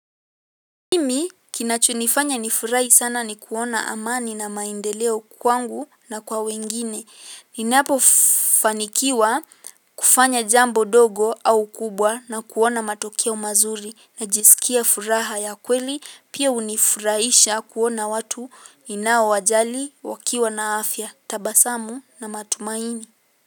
Mimi kinacho nifanya nafurahi sana nikiona amani na maendeleo kwangu na kwa wengine. Ninapo fanikiwa kufanya jambo dogo au kubwa na kulona matokeo mazuri. Najisukia furaha ya kweli, pia unifuraiisha kuona watu ninao wajali wakiwa na afya. Tabasamu na matumaini.